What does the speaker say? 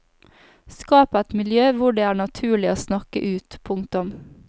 Skap et miljø hvor det er naturlig å snakke ut. punktum